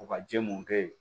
U ka jɛ mun kɛ ye